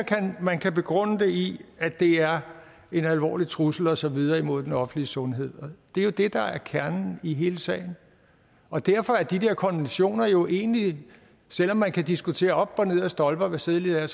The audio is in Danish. man kan begrunde det i at det er en alvorlig trussel og så videre imod den offentlige sundhed det er jo det der er kernen i hele sagen og derfor er de der konventioner jo egentlig selv om man kan diskutere op og ned ad stolper hvad sædelighed